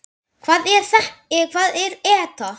Hvað er ETA?